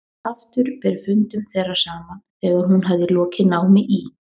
Aftur ber fundum þeirra saman þegar hún hafði lokið námi í